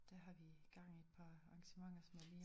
Der har vi gang i et par arrangementer som jeg lige har